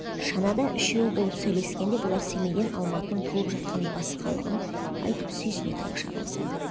шанада үшеуі болып сөйлескенде бұлар семейден алматының толып жатқан басқалығын айтып сүйсіне тамаша қылысады